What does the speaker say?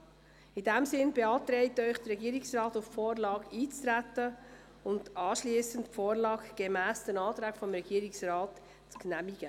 In diesem Sinn beantragt Ihnen der Regierungsrat, auf die Vorlage einzutreten und anschliessend die Vorlage gemäss den Anträgen des Regierungsrates zu genehmigen.